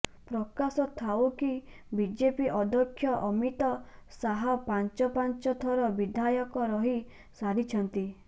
ପ୍ରକାଶ ଥାଉ କି ବିଜେପି ଅଧ୍ୟକ୍ଷ ଅମିତ ଶାହ ପାଞ୍ଚ ପାଞ୍ଚ ଥର ବିଧାୟକ ରହି ସାରିଛନ୍ତି